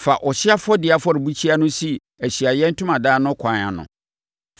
“Fa ɔhyeɛ afɔdeɛ afɔrebukyia no si Ahyiaeɛ Ntomadan no ɛkwan ano.